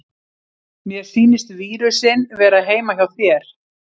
Mér sýnist vírusinn vera heima hjá þér.